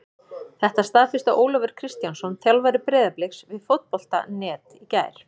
Þetta staðfesti Ólafur Kristjánsson þjálfari Breiðabliks við Fótbolta.net í gær.